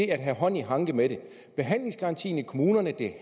at have hånd i hanke med det behandlingsgarantien i kommunerne